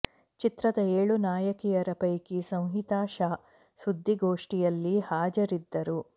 ಚಿತ್ರದ ಏಳು ನಾಯಕಿಯರ ಪೈಕಿ ಸಂಹಿತಾ ಶಾ ಸುದ್ದಿಗೋಷ್ಠಿಯಲ್ಲಿ ಹಾಜರಿದ್ದರು